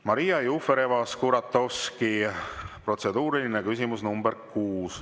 Maria Jufereva-Skuratovski, protseduuriline küsimus nr 6.